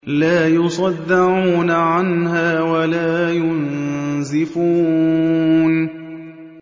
لَّا يُصَدَّعُونَ عَنْهَا وَلَا يُنزِفُونَ